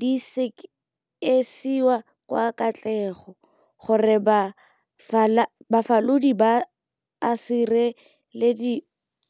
di sekisiwa ka katlego, gore bafalodi ba a sirelediwa le gore go nna le dithibelo tse di dirang sentle.